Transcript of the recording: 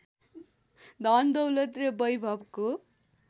धनदौलत र वैभवको